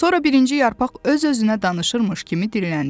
Sonra birinci yarpaq öz-özünə danışırmış kimi dilləndi.